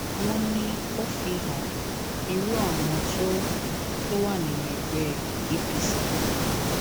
wọn ní ó fi han irú àwọn tó tó wà nínú ẹgbẹ apc